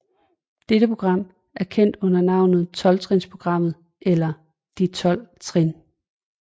Dette program er kendt under navnet Tolvtrinsprogrammet eller De Tolv Trin